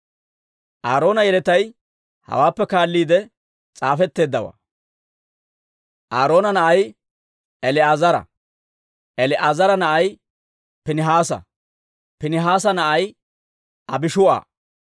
Aaroona yeletay hawaappe kaalliide s'aafetteeddawaa. Aaroona na'ay El"aazara; El"aazara na'ay Piinihaasa; Piinihaasa na'ay Abishuu'a;